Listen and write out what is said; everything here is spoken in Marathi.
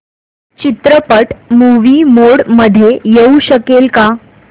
चित्रपट मूवी मोड मध्ये येऊ शकेल का